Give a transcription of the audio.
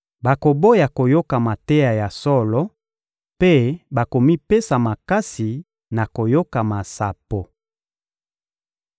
bakoboya koyoka mateya ya solo mpe bakomipesa makasi na koyoka masapo.